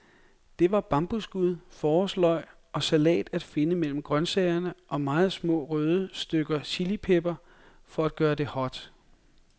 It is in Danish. Der var bambusskud, forårsløg og salat at finde mellem grøntsagerne, og meget små, røde stykker chilipeber for at gøre det hot.